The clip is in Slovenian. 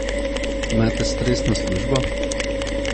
Imate stresno službo?